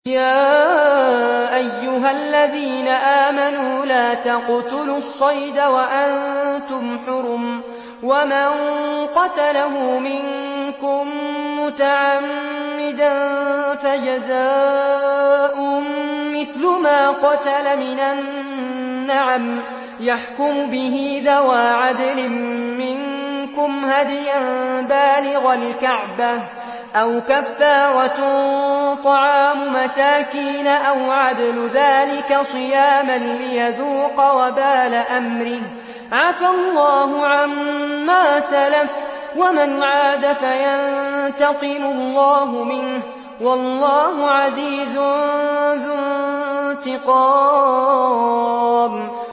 يَا أَيُّهَا الَّذِينَ آمَنُوا لَا تَقْتُلُوا الصَّيْدَ وَأَنتُمْ حُرُمٌ ۚ وَمَن قَتَلَهُ مِنكُم مُّتَعَمِّدًا فَجَزَاءٌ مِّثْلُ مَا قَتَلَ مِنَ النَّعَمِ يَحْكُمُ بِهِ ذَوَا عَدْلٍ مِّنكُمْ هَدْيًا بَالِغَ الْكَعْبَةِ أَوْ كَفَّارَةٌ طَعَامُ مَسَاكِينَ أَوْ عَدْلُ ذَٰلِكَ صِيَامًا لِّيَذُوقَ وَبَالَ أَمْرِهِ ۗ عَفَا اللَّهُ عَمَّا سَلَفَ ۚ وَمَنْ عَادَ فَيَنتَقِمُ اللَّهُ مِنْهُ ۗ وَاللَّهُ عَزِيزٌ ذُو انتِقَامٍ